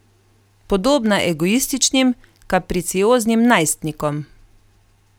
Podobna egoističnim, kapricioznim najstnikom.